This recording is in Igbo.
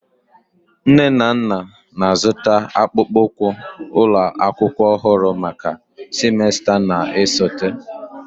Nne na nna na-azụta akpụkpọ ụkwụ ụlọ akwụkwọ ọhụrụ maka semester na-esote.